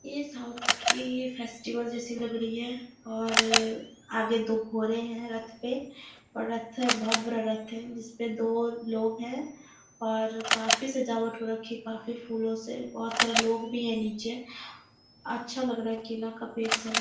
ये साउथ की फेस्टिवल जैसी लग रही है और आगे दो घोड़े हैं रथ पे और रथ है बहुत बड़ा रथ है जिस पे दो लोग हैं और काफी सजावट हो रखी है काफी फूलों से बहुत सारे लोग भी हैं नीचे। अच्छा लग रहा है केला का पेड़ सब है।